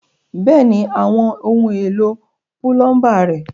Bẹ́ẹ̀ni, àwọn ohun èlò púlọ́ńbà ré.